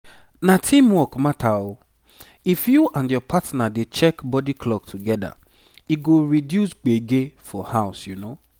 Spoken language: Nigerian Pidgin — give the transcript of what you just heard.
na teamwork matter o—if you and your partner dey check body clock together e go reduce gbege for house